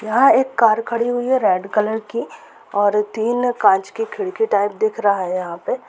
यहाँ एक कार खड़ी हुई है रेड कलर की और तीन कांच की खिड़की टाइप दिख रहा है यहाँ पे।